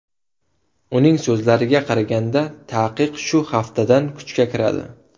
Uning so‘zlariga qaraganda, taqiq shu haftadan kuchga kiradi.